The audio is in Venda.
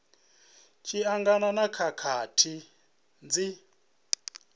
tshi angana na khakhathi dzi